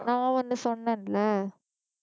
நான் ஒண்ணு சொன்னேன்ல